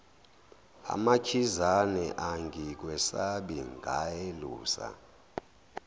amakhizane angikwesabi ngelusa